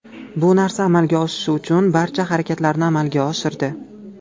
Bu narsa amalga oshishi uchun barcha harakatlarni amalga oshirdi.